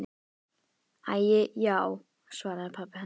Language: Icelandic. Æi já, svaraði pabbi hennar.